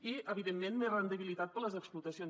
i evidentment més rendibilitat per a les explotacions